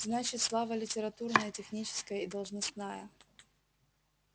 значит слава литературная техническая и должностная